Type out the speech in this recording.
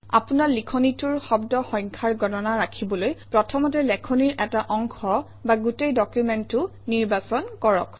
আপোনাৰ লিখনিটোৰ শব্দ সংখ্যাৰ গণনা ৰাখিবলৈ প্ৰথমতে লেখনিৰ এটা অংশ বা গোটেই ডকুমেণ্টটো নিৰ্বাচন কৰক